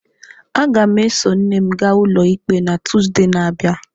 Aga m eso nne m gaa ụlọikpe na Tuzdee na-abịa.